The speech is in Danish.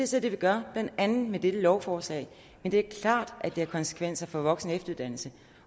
så det vi gør blandt andet med dette lovforslag men det er klart at det har konsekvenser for voksen og efteruddannelsen